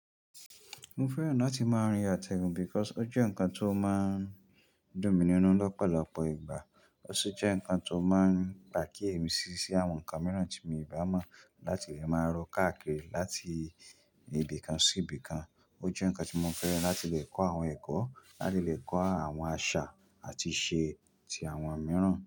Mo fẹ́ràn láti máa rin àtẹ̀gùn because ó jẹ́ ǹkan tó máa ń dùn mí nínu lọ́pọ̀lọpọ̀ ìgbà. Ó sì jẹ́ ǹkan tó máa ń gbà kí èmi ṣíṣí àwọn ǹkan mìíràn tí mo ìbá mọ̀ láti lè máa rọ káàkiri, láti ibìkan sí ibìkan. Ó jẹ́ ǹkan tí mo fẹ́ràn láti lè kọ́ àwọn ẹ̀kọ́, láti lè kọ́ àwọn àṣà àti ìṣe ti àwọn mìíràn.